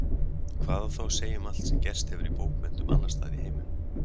Hvað á þá að segja um allt sem gerst hefur í bókmenntum annarstaðar í heiminum?